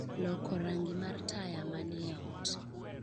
loko rangi mar taya manie ot